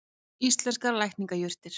Íslenskar lækningajurtir.